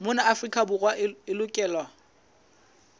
mona afrika borwa e lokelwa